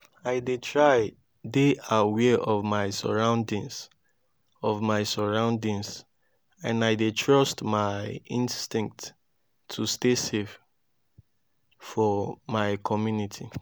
i dey try dey aware of my surroundings of my surroundings and i dey trust my instincts to stay safe for my community.